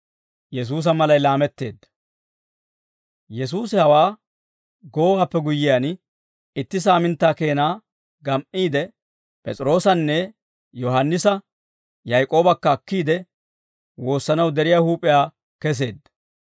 Yesuusi hawaa goowaappe guyyiyaan, itti saaminttaa keena gam"iide, P'es'iroosanne Yohaannisa, Yaak'oobakka akkiide, woossanaw deriyaa huup'iyaa keseedda.